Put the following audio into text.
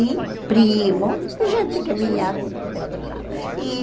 E primos e gente que vinha de outro lado. E